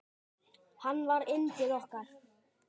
Hann var yndið okkar.